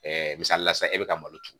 misali la sisan e bɛ ka malo turu